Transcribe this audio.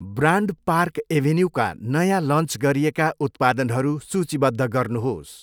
Brand park एभेन्युका नयाँ launch गरिएका उत्पादनहरू सूचीबद्ध गर्नुहोस्?